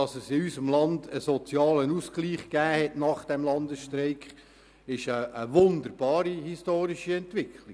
Dass es in unserem Land nach dem Landesstreik einen sozialen Ausgleich gab, ist eine wunderbare historische Entwicklung.